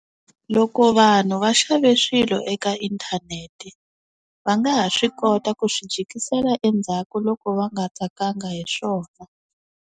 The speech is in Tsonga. Loko vanhu va xave swilo eka inthanete va nga ha swi kota ku swi jikisela endzhaku loko va nga tsakanga hi swona.